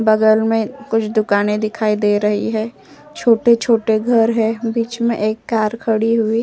बगल में कुछ दुकाने दिखाई दे रही है। छोटे-छोटे घर है। बीच में एक कार खड़ी हुई --